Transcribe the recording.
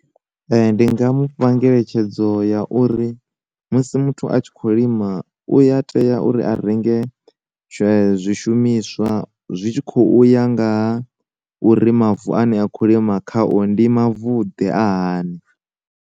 Ndi nga mu fha ngeletshedzo ya uri, musi muthu a tshi kho lima uya tea uri a renge zwe zwishumiswa zwi tshi kho uya ngaha uri mavu ane a kho lima kha o ndi mavu ḓe a hani.